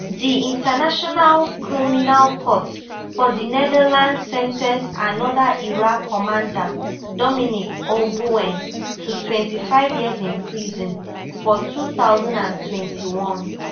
di international criminal court for di netherlands sen ten ced anoda Ira commander Dominic Ongwen to twenty-five years in prison for two thousand and twenty-one